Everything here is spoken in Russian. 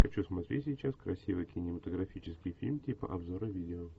хочу смотреть сейчас красивый кинематографический фильм типа обзора видео